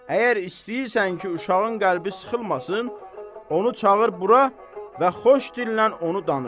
Əgər istəyirsən ki, uşağın qəlbi sıxılmasın, onu çağır bura və xoş dillə onu danışdır.